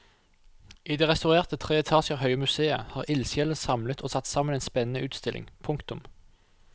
I det restaurerte tre etasjer høye museet har ildsjelene samlet og satt sammen en spennende utstilling. punktum